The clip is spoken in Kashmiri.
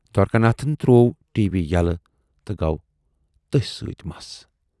دوارِکا ناتھن تروو ٹی۔ وی یلہٕ تہٕ گَو تٔسۍ سۭتۍ مست۔